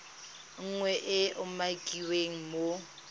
nngwe e e umakiwang mo